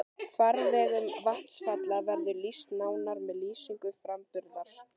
Farvegum vatnsfalla verður lýst nánar með lýsingu framburðar.